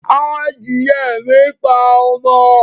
Adìye mi ń pa ọmọ